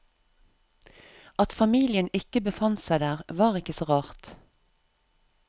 At familien ikke befant seg der, var ikke så rart.